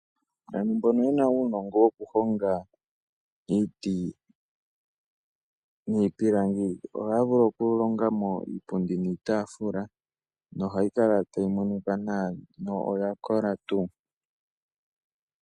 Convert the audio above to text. Aantu mbono yena uunongo wokuhonga iiti niipilangi, ohaya vulu okulonga mo iipundi niitaafula nohayi kala tayi monika nawa, no oya kola tuu.